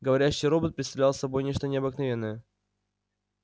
говорящий робот представлял собой нечто необыкновенное